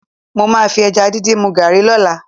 Mo máa fi ẹja díndín mu gààrí lọ́la